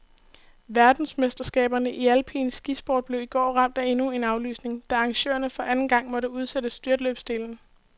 Verdensmesterskaberne i alpin skisport blev i går ramt af endnu en aflysning, da arrangørerne for anden gang måtte udsætte styrtløbsdelen.